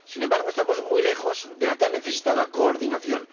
Sin embargo, estamos muy lejos de la tan necesitada coordinación.